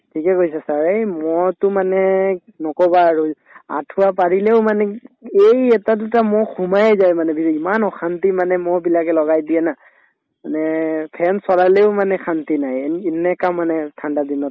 ঠিকে কৈছে sir য়ে এই মহটো মানে নকবা আৰু আঠুৱা পাৰিলেও মানে এই এটা দুটা মহ সোমায়ে যায় মানে ইমান অশান্তি মানে মহবিলাকে লগাই দিয়ে না মানে fan চলালেও মানে শান্তি নাই এন এনেকা মানে ঠাণ্ডা দিনত